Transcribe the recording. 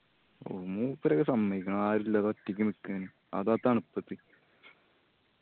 മൂപ്പരെ ഒക്കെ സമ്മയ്ക്കണം ആരു ഇല്ലാതെ ഒറ്റക്ക് ഇങ്ങനെ നിക്കേ അതു ആ തണുപ്പത്ത്.